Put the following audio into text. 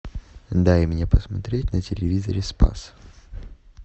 дай мне посмотреть на телевизоре спас